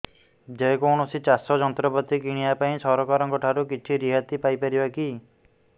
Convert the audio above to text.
ଯେ କୌଣସି ଚାଷ ଯନ୍ତ୍ରପାତି କିଣିବା ପାଇଁ ସରକାରଙ୍କ ଠାରୁ କିଛି ରିହାତି ପାଇ ପାରିବା କି